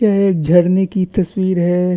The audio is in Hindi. पेड़ झरने की तस्वीर है।